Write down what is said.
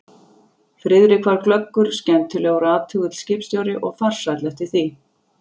Friðrik var glöggur, skemmtilegur og athugull skipstjóri og farsæll eftir því.